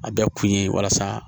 A bɛ kun ye walasa